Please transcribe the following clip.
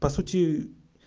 по сути